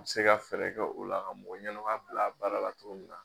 Ka se ka fɛɛrɛ kɛ o la, ka mɔgɔ ɲɛnama bila a baara la cogo min.